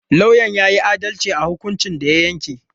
Lauyan ya yi adalci a hukuncin da ya yanke.